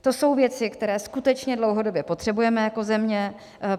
To jsou věci, které skutečně dlouhodobě potřebujeme jako země.